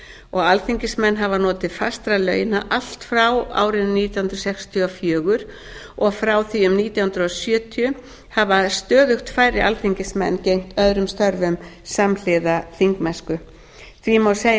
og alþingismenn hafa notið fastra launa allt frá árinu nítján hundruð sextíu og fjögur og frá því um nítján hundruð sjötíu hafa stöðugt færri alþingismenn gegnt öðrum störfum samhliða þingmennsku því má segja að